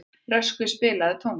Röskvi, spilaðu tónlist.